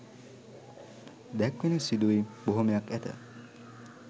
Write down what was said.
දැක්වෙන සිදුවීම් බොහොමයක් ඇත.